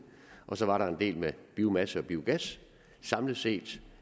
så var der en del med biomasse og biogas samlet set